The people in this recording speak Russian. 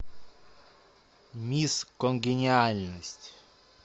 мисс конгениальность